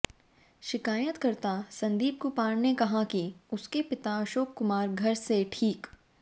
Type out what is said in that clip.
शिकायतकर्ता संदीप कुमार ने कहा कि उसके पिता अशोक कुमार घर से ठीक